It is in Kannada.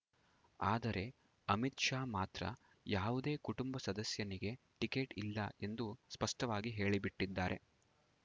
ಆದರೆ ಅಮಿತ್‌ ಶಾ ಮಾತ್ರ ಯಾವುದೇ ಕುಟುಂಬ ಸದಸ್ಯನಿಗೆ ಟಿಕೆಟ್‌ ಇಲ್ಲ ಎಂದು ಸ್ಪಷ್ಟವಾಗಿ ಹೇಳಿಬಿಟ್ಟಿದ್ದಾರೆ